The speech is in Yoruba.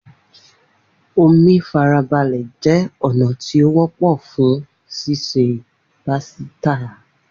Omi farabale jẹ ọna ti o wọpọ fun ṣiṣe pasita.